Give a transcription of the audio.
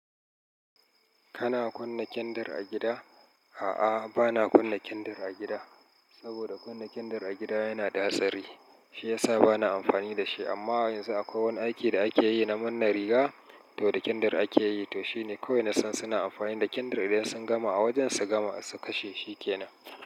Kana kunna kyandir a gida? A'a, bana kunna kindir a gida. Saboda kunna kindir a gida yana da hatsari. Shi ya sa bana amfani da shi. Amma yanzu akwai wani aiki da ake yi na manne riga, to da kyandir ake yi. To shine kawai na san suna amfani da kyandir idan sun gama a wajen su gama su kashe, shi ke nan.